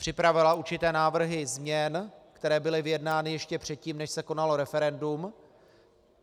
Připravila určité návrhy změn, které byly vyjednány ještě předtím, než se konalo referendum.